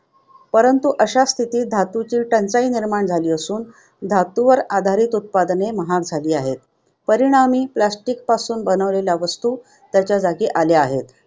परंतु अशा स्थितीत धातूंची टंचाई निर्माण झाली असून, धातूवर आधारित उत्पादने महाग झाली आहेत. परिणामी, plastic पासून बनवलेल्या वस्तू त्याच्या जागी आल्या आहेत